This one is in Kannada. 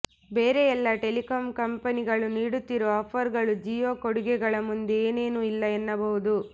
ಬೇರೆ ಎಲ್ಲಾ ಟೆಲಿಕಾಮ್ ಕಂಪನಿಗಳು ನೀಡುತ್ತಿರುವ ಆಫರ್ ಗಳು ಜಿಯೋ ಕೊಡುಗೆಗಳ ಮುಂದೆ ಏನೇನು ಇಲ್ಲ ಎನ್ನಬಹುದು